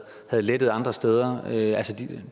havde lettet andre steder